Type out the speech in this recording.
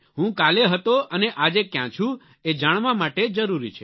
હું કાલે હતો અને આજે ક્યાં છું એ જાણવા માટે જરૂરી છે